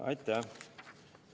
Aitäh!